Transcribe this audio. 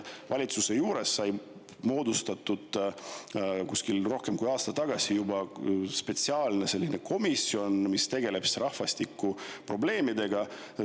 Valitsuse juurde sai moodustatud juba rohkem kui aasta tagasi spetsiaalne komisjon, mis tegeleb rahvastikuprobleemidega.